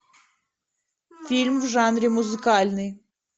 фильм в жанре музыкальный